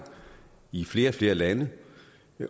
i flere og flere lande